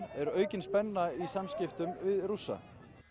er aukin spenna í samskiptum við Rússa